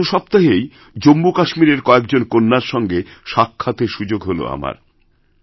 এই গত সপ্তাহেই জম্মুকাশ্মীরের কয়েকজন কন্যার সঙ্গে সাক্ষাতেরসুযোগ হল আমার